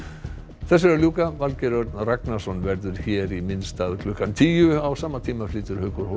þessu er að ljúka Valgeir Örn Ragnarsson verður hér í minn stað klukkan tíu á sama tíma flytur Haukur